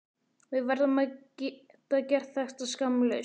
Við verðum að geta gert þetta skammlaust.